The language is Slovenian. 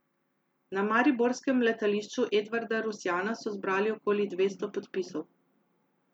Na mariborskem letališču Edvarda Rusjana so zbrali okoli dvesto podpisov.